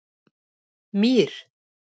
Mír